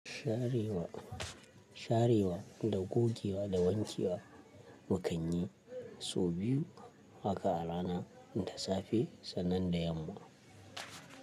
Sharewa, sharewa da gogewa da wanke wa mu kan yi sau biyu haka a rana, da safe sannan da yamma.